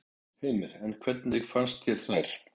Heimir: En hvernig fannst þér þær?